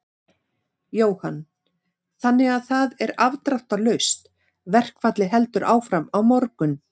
Jóhann: Þannig að það er afdráttarlaust, verkfallið heldur áfram á morgun?